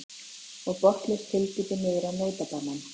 Og botnlaust hyldýpi niður á nautabanann.